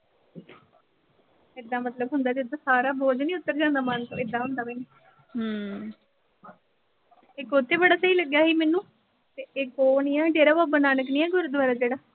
ਐਦਾਂ ਮਤਲਬ ਹੁੰਦਾ, ਜਿੱਦਾਂ ਸਾਰਾ ਬੋਝ ਨੀਂ ਉਤਰ ਜਾਂਦਾ ਮਨ ਤੋਂ ਏਦਾਂ ਹੁੰਦਾ ਇੱਕ ਉਥੇ ਬੜਾ ਸਹੀ ਲੱਗਿਆ ਸੀ ਮੈਨੂੰ ਤੇ ਇੱਕ ਉਹ ਨੀਂ ਆ, ਡੇਰਾ ਬਾਬਾ ਨਾਨਕ ਨੀਂ ਆ ਗੁਰਦੁਆਰਾ ਜਿਹੜਾ